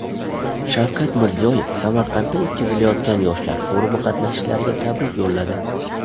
Shavkat Mirziyoyev Samarqandda o‘tkazilayotgan yoshlar forumi qatnashchilariga tabrik yo‘lladi.